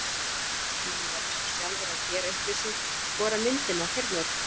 Menn verða svo sjálfir að gera upp við sig hvora myndina þeir nota.